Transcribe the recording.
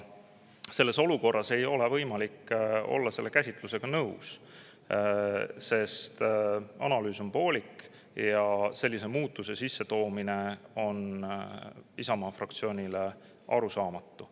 Selles olukorras ei ole võimalik olla nõus selle käsitlusega, sest analüüs on poolik ja sellise muudatuse sissetoomine on Isamaa fraktsioonile arusaamatu.